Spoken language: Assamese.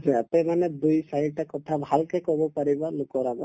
কাৰণে দুই চাৰিটা কথা ভালকে কব পাৰিবা লোকৰ আগত